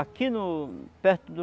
Aqui no perto do